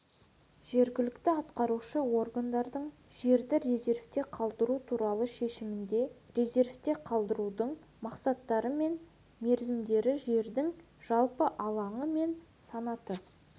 жергілікті атқарушы органдардың жерді резервте қалдыру туралы шешімінде резервте қалдырудың мақсаттары мен мерзімдері жердің жалпы алаңы мен санаты